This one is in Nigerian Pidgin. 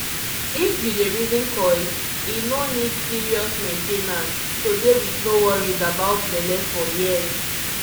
if you dey reason coil e no need serious main ten ance -- to dey with no worries about belle for years